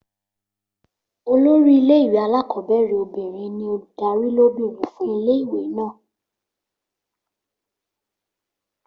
Olórí ilé ìwé alákọ̀ọ́bẹ̀rẹ̀ obìnrin ní olùdarí lóbìnrin fún ilé ìwé náà